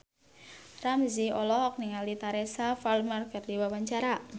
Ramzy olohok ningali Teresa Palmer keur diwawancara